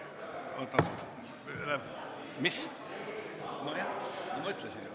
Kohe täpsustame.